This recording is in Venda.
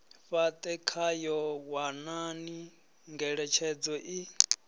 fhate khayo wanani ngeletshedzo i